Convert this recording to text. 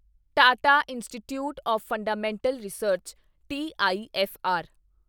Tata institute of fundamental research TIFR